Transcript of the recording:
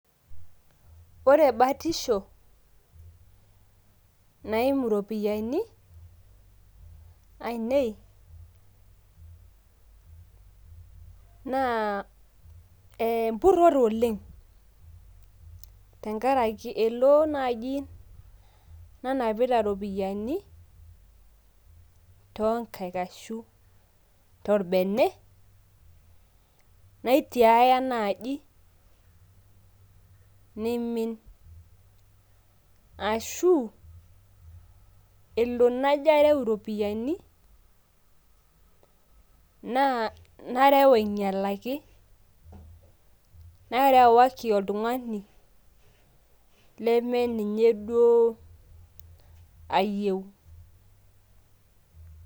Ore batisho naimu iropiyiani ainei, naa empurrore oleng. Tenkaraki elo naji nanapita iropiyiani tonkaik ashu torbene, naitiaya naji, nimin ashu elo najo areu iropiyiani, naa nareu ainyalaki. Narewaki oltung'ani lemeninye duo ayieu.